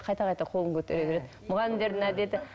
қайта қайта қолын көтере береді мұғалімдердің әдеті